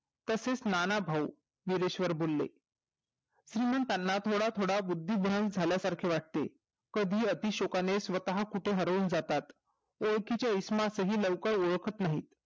तसेच नाना भाऊ मुरेश्व्रबिरले म्हणून त्यांना थोडा थोडा बुद्धि भ्रम झालेसारखे वाटते कधी अति शोकाने स्वतः कोठे तरी हरवून जातातय ओळखिचे इसमास हि लवकर औळखत नाही